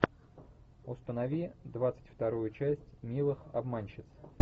установи двадцать вторую часть милых обманщиц